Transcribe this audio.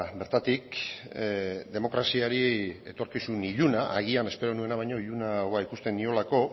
bertatik demokraziari etorkizun iluna agian espero nuena baino ilunagoa ikusten niolako